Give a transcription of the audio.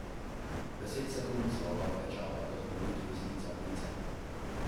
Deset sekund sva oba klečala kot v molitvi iz lica v lice.